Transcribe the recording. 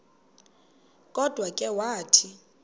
kodwa ke wathi